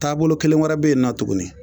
Taabolo kelen wɛrɛ be yen nɔ tuguni